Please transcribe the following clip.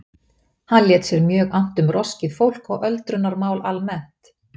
Hann lét sér mjög annt um roskið fólk og öldrunarmál almennt.